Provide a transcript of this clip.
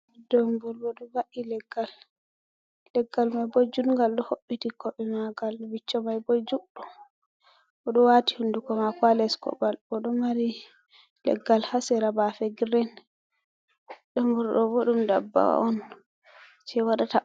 Domburu ɗo va'i leggal, leggal mai bo judgal ɗo hobbiti koɓe magal, viccho mai bo juɗɗum oɗo wati hunduko mako ha les koɓal bo ɗo mari leggal ha sera bafe grin. Domburu ɗo bo ɗum dabba on je waɗata.